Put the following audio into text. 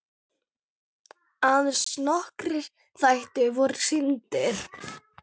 Aðeins nokkrir þættir voru sýndir.